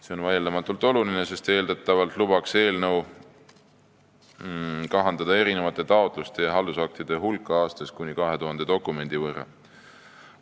See on vaieldamatult oluline, sest eeldatavalt lubaks eelnõu kahandada taotluste ja haldusaktide hulka aastas kuni 2000 dokumendi võrra.